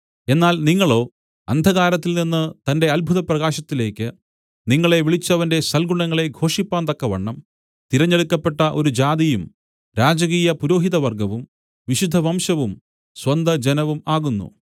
എന്നാൽ നിങ്ങളോ അന്ധകാരത്തിൽനിന്ന് തന്റെ അത്ഭുത പ്രകാശത്തിലേക്ക് നിങ്ങളെ വിളിച്ചവന്റെ സൽഗുണങ്ങളെ ഘോഷിപ്പാന്തക്കവണ്ണം തിരഞ്ഞെടുക്കപ്പെട്ട ഒരു ജാതിയും രാജകീയപുരോഹിതവർഗ്ഗവും വിശുദ്ധവംശവും സ്വന്തജനവും ആകുന്നു